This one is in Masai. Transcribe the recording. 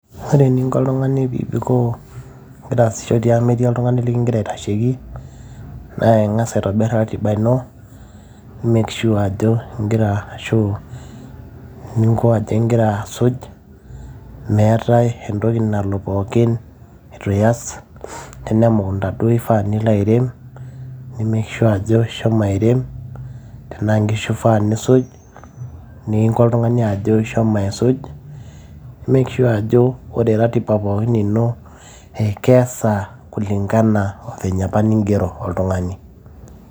ore eninko oltung'ani pibikoo ingira aasisho tiang metii oltung'ani likingira aitasheki naa ing'as aitobirr ratiba ino make sure ajo ingira ashu ninko ajo ingira asuj meetae entoki nalo pookin etu iyas tenaa emukunta duo ifaa nilo airem ni make sure ajo ishomo airem tenaa nkishu ifaa nisuj ninko oltung'ani ajo ishomo aisuj make sure ajo ore ratiba ino ekeesa kulingana o venye apa ningero oltung'ani.